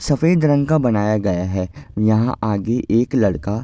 सफ़ेद रंग का बनाया गया हैं। यहाँ आगे एक लड़का --